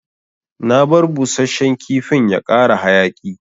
Na bar busashen kifin ya kara hayaki.